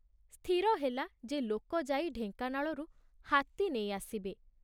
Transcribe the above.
ସ୍ଥିର ହେଲା ଯେ ଲୋକ ଯାଇ ଢେଙ୍କାନାଳରୁ ହାତୀ ନେଇ ଆସିବେ।